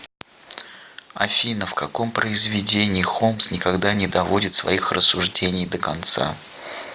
афина в каком произведении холмс никогда не доводит своих рассуждений до конца